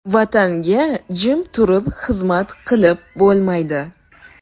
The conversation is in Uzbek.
Vatanga jim turib xizmat qilib bo‘lmaydi.